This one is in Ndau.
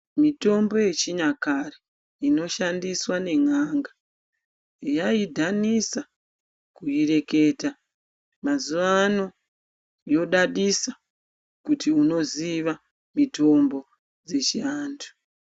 Mitombo yechinyakare inoshandiswa nen'anga yaidhanisa kuireketa mazuwano yodadisa kuti unoziva mitombo dzechiantu.